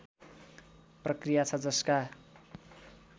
प्रक्रिया छ जसका